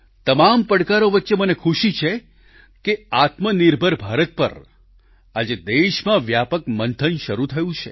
તમામ પડકારો વચ્ચે મને ખુશી છે કે આત્મનિર્ભર ભારત પર આજે દેશમાં વ્યાપક મંથન શરૂ થયું છે